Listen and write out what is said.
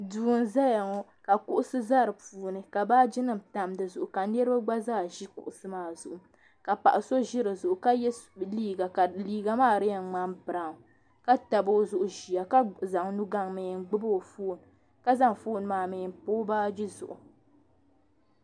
Duu nzaya ŋɔ ka kuɣusi di puuni ka baaji nim tam di zuɣu ka niriba gba zaa zi kuɣusi maa zuɣu ka paɣa so zɛ di zuɣu ka yiɛ liiga ka liiga maa di yɛn mŋani braɔw ka tabi o zuɣu ziya ka zaŋ nu gbaŋ mi n gbubi o foon ka zaŋ foon maa mi n pa o baaji zuɣu.